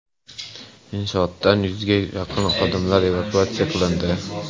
Inshootdan yuzga yaqin xodimlar evakuatsiya qilindi.